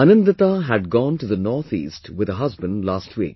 Anandita had gone to the North East with her husband last week